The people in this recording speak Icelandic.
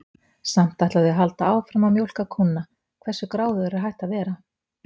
Samt ætla þau að halda áfram að mjólka kúnna, hversu gráðugur er hægt að vera?